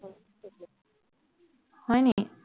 হয় নেকি